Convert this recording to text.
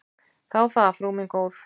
Þá það, frú mín góð.